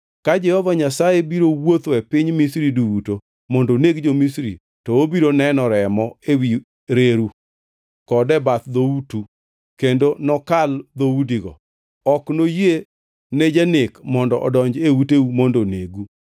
Ka Jehova Nyasaye biro wuotho e piny Misri duto mondo oneg jo-Misri, to obiro neno remo ewi reru kod e bath dhoutu kendo nokal dhoudigo, ok noyie ne janek mondo odonj e uteu mondo onegu.